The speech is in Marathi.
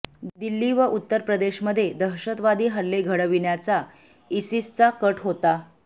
दिल्ली व उत्तर प्रदेशमध्ये दहशतवादी हल्ले घङविण्याचा इसिसचा कट होता